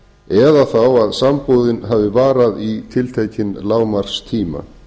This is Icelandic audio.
eða þá að sambúðin hafi varað í tiltekinn lágmarkstíma